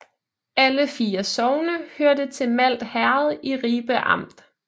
Alle 4 sogne hørte til Malt Herred i Ribe Amt